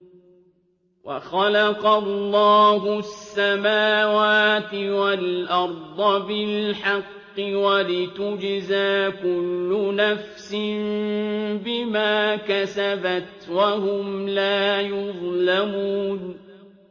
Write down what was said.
وَخَلَقَ اللَّهُ السَّمَاوَاتِ وَالْأَرْضَ بِالْحَقِّ وَلِتُجْزَىٰ كُلُّ نَفْسٍ بِمَا كَسَبَتْ وَهُمْ لَا يُظْلَمُونَ